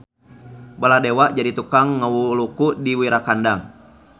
Baladewa jadi tukang ngawuluku di Wirakandang.